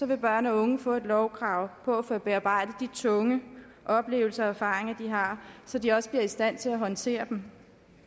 vil børn og unge få et lovkrav på at få bearbejdet de tunge oplevelser og erfaringer de har så de også bliver i stand til at håndtere dem